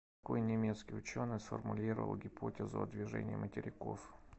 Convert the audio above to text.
какой немецкий ученый сформулировал гипотезу о движении материков